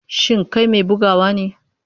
Shin kai mai bugawa ne?